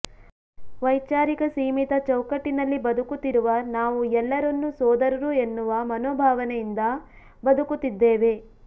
ವೈಚಾರಿಕ ಸೀಮಿತ ಚೌಕಟ್ಟಿನಲ್ಲಿ ಬದುಕುತ್ತಿರುವ ನಾವು ಎಲ್ಲರನ್ನು ಸೋದರರು ಎನ್ನುವ ಮನೊಭಾವನೆಯಿಂದ ಬದುಕುತ್ತಿದ್ದೇವೆ